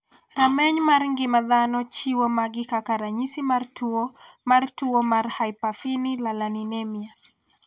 Rameny mar ng'ima dhano chiwo magi kaka ranyisi mar tuo mar tuo ni mar hyperphenylalaninemia.